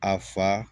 A fa